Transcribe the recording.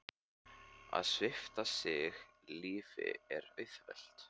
Að svipta sig lífi er auðvelt.